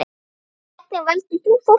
Hvernig valdir þú fólkið?